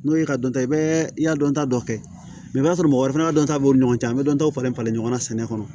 N'o ye ka dɔnta i bɛ i y'a dɔnta dɔ kɛ i b'a sɔrɔ mɔgɔ wɛrɛ fana ka dɔnta b'o ni ɲɔgɔn cɛ an bɛ dɔntaw falen falen ɲɔgɔn na sɛnɛ kɔnɔ